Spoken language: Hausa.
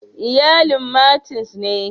Iyalin Martins ne.